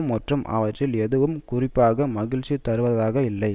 மற்றும் அவற்றில் எதுவும் குறிப்பாக மகிழ்ச்சி தருவதாக இல்லை